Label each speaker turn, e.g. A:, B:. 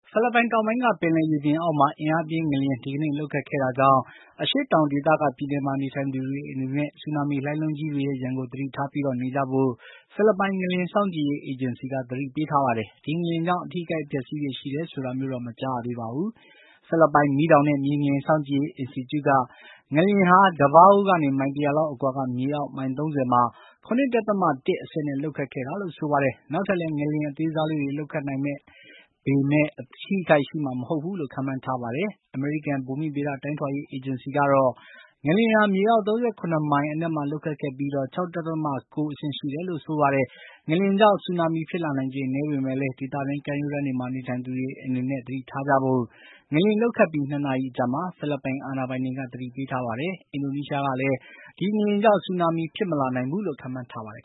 A: ဖိလစ်ပိုင်တောင်ပိုင်းက ပင်လယ်ရေပြင်အောက်မှာ အင်းအားပြင်း ငလျင် ဒီကနေ့ လှုပ်ခတ်ခဲ့တာ ကြောင့် အရှေ့တောင်ဒေသက ပြည်နယ်မှာနေထိုင်သူတွေအနေနဲ့ ဆူနာမီလှိုင်းလုံးကြီးတွေကို သတိထားပြီး နေကြဖို့ ဖိလစ်ပိုင် ငလျင်စောင့်ကြည့်ရေးအေဂျင်စီက သတိပေးထားပါတယ်။ ဒီငလျင်ကြောင့် အထိအခိုက် အပျက်အစီးတွေရှိတယ်ဆိုတာမျိုးတော့ မကြားရသေးပါဘူး။ ဖိလစ်ပိုင် မီးတောင်နဲ့ မြေငလျင် စောင့်ကြည့်ရေး အင်စတီကျုက ငလျင်ဟာ Davao ကနေ မိုင် ၁၀၀ လောက် အကွာက မြေအောက် မိုင် ၃၀ မှာ ၇.၁ အဆင့်နဲ့ လှုပ်ခတ်ခဲ့တာလို့ ဆိုပါတယ်။ နောက်ထပ်လည်း ငလျင် အသေးစားလေးတွေ လှုပ်ခတ်နိုင်ပေမယ့် အထိအခိုက်ရှိမှာ မဟုတ်ဘူးလို့ ခန့်မှန်းထားပါတယ်။ အမေရိကန် ဘူမီဗေဒတိုင်းထွာရေး အေဂျင်စီကတော့ ငလျင်ဟာ မြေအောက် ၃၇ မိုင် အနက်မှာ လှုပ်ခတ်ခဲ့ပြီး ၆.၉ အဆင့်ရှိတယ်လို့ ဆိုပါတယ်။ ငလျင်ကြောင့် ဆူနာမီ ဖြစ်လာ နိုင်ခြေနည်းပေမယ့်လည်း ဒေသတွင်း ကမ်းရိုးတန်းတွေမှာ နေထိုင်သူတွေအနေနဲ့ သတိထားကြဖို့ ငလျင် လှုပ်ခတ်ပြီး ၂ နာရီအကြာမှာဖိလစ်ပိုင်အာဏာပိုင်တွေက သတိပေးထားပါတယ်။ အင်ဒိုနီးရှားကလည်း ဒီငလျင်ကြောင့် ဆူနာမီ ဖြစ်မလာနိုင်ဘူးလို့ ခန့်မှန်းထားပါတယ်